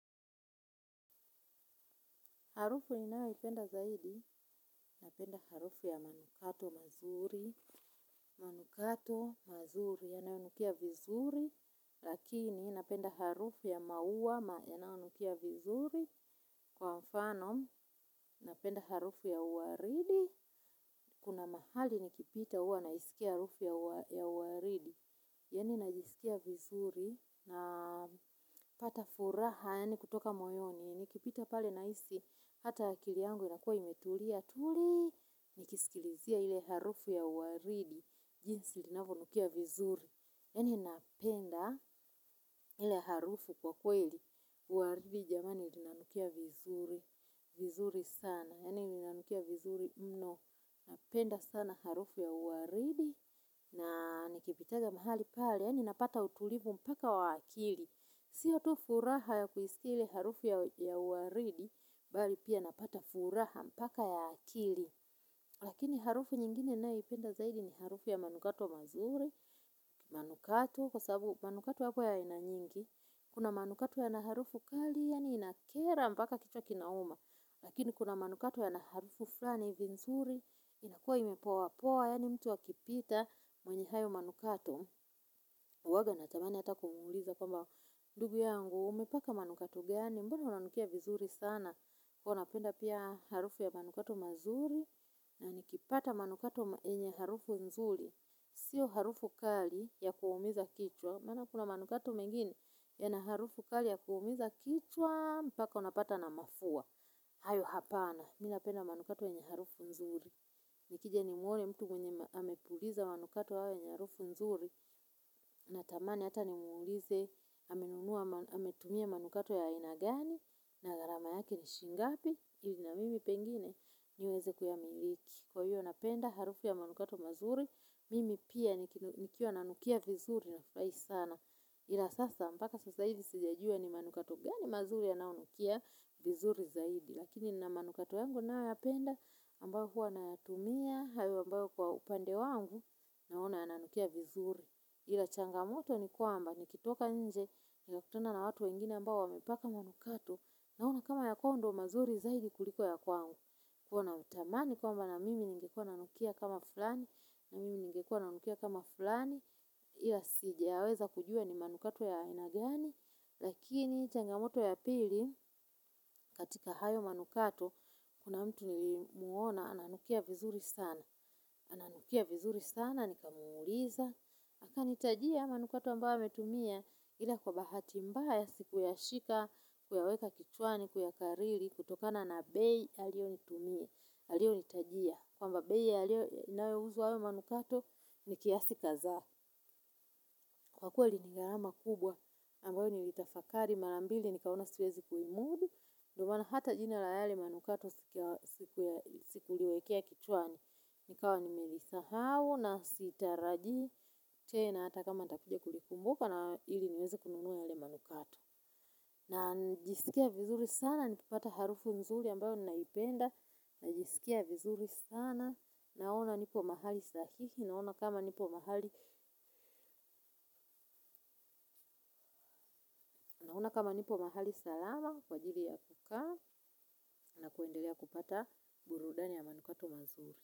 Harufu ninayoipenda zaidi, napenda harufu ya manukato mazuri, manukato mazuri, yanayonukia vizuri, lakini napenda harufu ya maua, yanayonukia vizuri, kwa mfano, napenda harufu ya waridi, kuna mahali nikipita huwa na isikia harufu ya waridi. Yaani najisikia vizuri na hata furaha kutoka moyoni. Nikipita pale nahisi hata akili yangu inakuwa imetulia tuli nikisikia hiyo ya waridi jinsi inayonukia vizuri yaani napenda. iIe harufu kwa kweli, waridi jamani inanukia vizuri, vizuri sana, yaani inanukia vizuri mno, napenda sana harufu ya waridi, na nikipitanga mahali pale, ninapata utulivu mpaka wa akili. Siyo tu furaha ya kuisikia ile harufu ya waridi bali pia napata furaha mpaka ya akili. Lakini harufu nyingine ninayoipenda zaidi ni harufu ya manukato mazuri manukato kwa sababu manukato yako ya aina nyingi. Kuna manukato yana harufu kali, yaani inakera mpaka kichwa kinauma. Lakini kuna manukato ya na harufu fulani ni nzuri. Inakua imepoapoa, yaani mtu akipita mwenye hayo manukato. Huwanga natamani hata kumwuliza kwamba ndugu yangu umepaka manukato gani, mbona unanukia vizuri sana? Kwa hivyo napenda pia harufu ya manukato mazuri na nikipata manukato yenye harufu nzuri. Sio harufu kali ya kuumiza kichwa maana kuna manukato mengine yana harufu kali ya kuumiza kichwa mpaka unapatwa na mafua. Hayo hapana, mimi napenda manukato yenye harufu nzuri. Nikija nimwone mtu mwenye amepuliza manukato yawe ni harufu nzuri. Natamani hata nimwulize amenunua ametumia manukato ya aina gani na gharama yake ni shilingi ngapi ili na mimi pengine niweze kuyamiliki. Kwa hiyo napenda harufu ya manukato mazuri, mimi pia nikiwa nanukia vizuri nafurahi sana. Ila sasa mpaka sasa hivi sijajua ni manukato gani mazuri yanayounukia vizuri zaidi. Lakini nina manukato yangu ninayoyapenda ambayo huwa nayatumia, hayo ambayo kwa upande wangu naona yananukia vizuri. Ila changamoto ni kwamba nikitoka nje, ninakutuna na watu wengine ambao wamepaka manukato naona kama ya kwao ndiyo mazuri zaidi kuliko ya kwangu. Kwa hivyo natamani kwamba na mimi ningekwa nanukia kama fulani, na mimingekwa nanukia kama fulani, ila sijaweza kujua ni manukato ya aina gani, lakini changamoto ya pili. Katika hayo manukato, kuna mtu nilimuona, ananukia vizuri sana, ananukia vizuri sana, nikamuuliza. Akanitajia manukato ambayo ametumia ila kwa bahati mbaya sikuyashika kuyaweka kichwani, kuyakariri, kutokana na bei, alioyonitumia, alioyonitajia. Kwamba bei yanayouzwa hayo manukato ni kiasi kadhaa. Kwa kweli ni gharama kubwa ambayo nilitafakari mara mbili nikaona siwezi kuimudu. Ndiyo maana hata jina la yale manukato sijaliwekea kichwani. Nikawa nimelisahau na sitarajii. Tena hata kama nitakuja kulikumbuka na ili niweze kununua yale manukato. Na ninisikie vizuri sana, nikipata harufu mzuri ambayo ninaipenda. Najisikia vizuri sana. Naona niko mahali dhabiti naona kama niko mahali. Kama nipo mahali salama kwa ajili ya kukaa na kuendelea kupata burudani ya manukato mazuri.